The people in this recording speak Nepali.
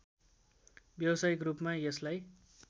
व्यावसायिक रूपमा यसलाई